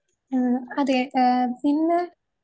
ആഹ് അതെ ആഹ്